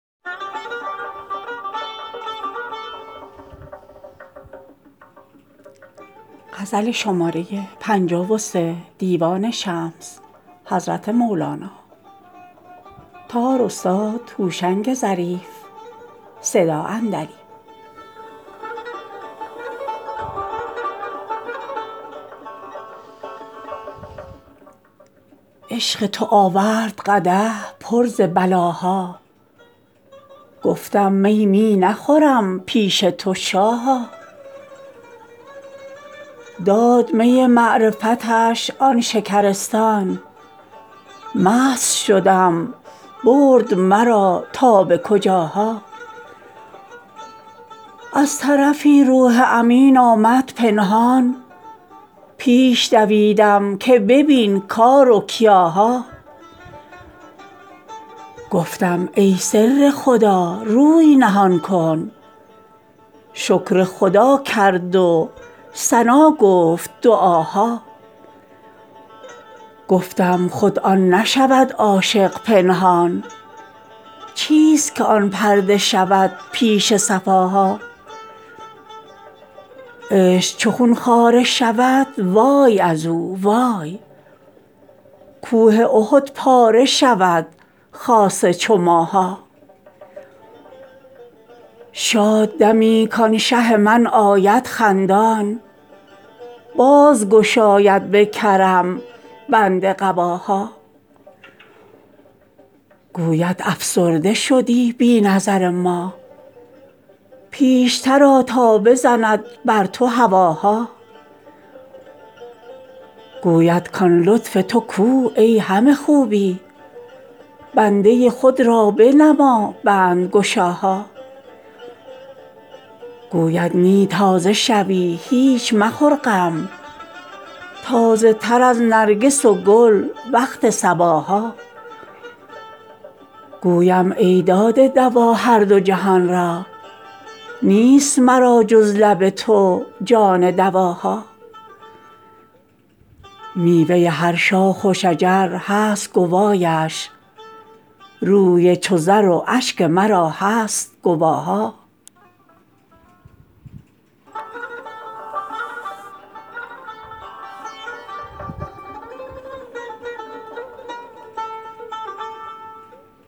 عشق تو آورد قدح پر ز بلاها گفتم می می نخورم پیش تو شاها داد می معرفتش آن شکرستان مست شدم برد مرا تا به کجاها از طرفی روح امین آمد پنهان پیش دویدم که ببین کار و کیاها گفتم ای سر خدا روی نهان کن شکر خدا کرد و ثنا گفت دعاها گفتم خود آن نشود عاشق پنهان چیست که آن پرده شود پیش صفاها عشق چو خون خواره شود وای از او وای کوه احد پاره شود خاصه چو ماها شاد دمی کان شه من آید خندان باز گشاید به کرم بند قباها گوید افسرده شدی بی نظر ما پیشتر آ تا بزند بر تو هواها گویم کان لطف تو کو ای همه خوبی بنده خود را بنما بندگشاها گوید نی تازه شوی هیچ مخور غم تازه تر از نرگس و گل وقت صباها گویم ای داده دوا هر دو جهان را نیست مرا جز لب تو جان دواها میوه هر شاخ و شجر هست گوایش روی چو زر و اشک مرا هست گواها